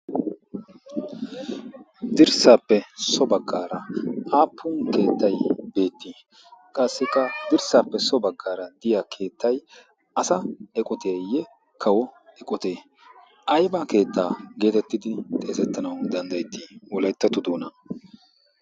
dirssaappe so baggaara aappun keettai beetti? qassikka dirssaappe so baggaara diya keettai asa eqoteeyye kawo eqotee? aiba keettaa geetettidi xeezettanau danddayetti wolaettatu doona?